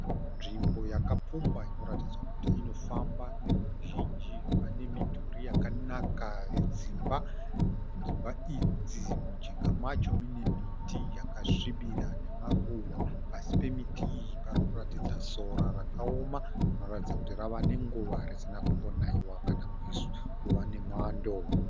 Nzvimbo yakapfumba inoratidza kuti inofamba neveruzhinji. Vane midhuri yakanaka yedzimba. Dzimba idzi munjinga macho mune miti yakasvibira nemaruva. Pasi pemiti iyi parikuratidza sora rakaoma rinoratidza kuti rava nenguva risina kumbonaiwa kana kuva mwando.